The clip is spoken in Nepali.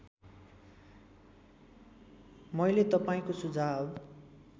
मैले तपाईँको सुझाव